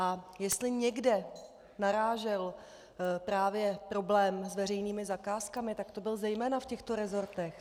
A jestli někde narážel právě problém s veřejnými zakázkami, tak to bylo zejména v těchto resortech.